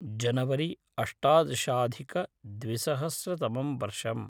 January अष्टादशाधिकद्विसहस्रतमं वर्षम्।